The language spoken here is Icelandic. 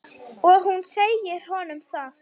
Og hún segir honum það.